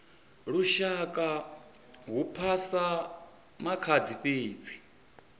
lushaka hu phasa makhadzi fhedzi